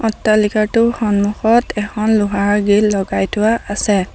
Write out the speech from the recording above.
অট্টালিকাটোৰ সন্মুখত এখন লোহাৰ গ্ৰিল লগাই থোৱা আছে।